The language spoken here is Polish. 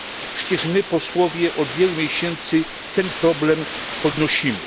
Przecież my, posłowie, od wielu miesięcy ten problem podnosimy.